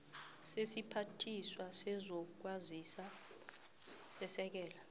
sesiphathiswa sezokwazisa sesekela